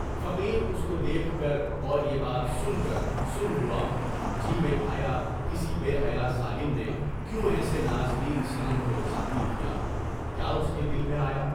فقیر اُس کو دیکھ کر اور یہ بات سن کر سن ہوا، جی میں آیا، کسی بے حیاء ظالم نے کیوں ایسے نازنین صنم کو زخمی کیا، کیا اُس کے دل میں آیا؟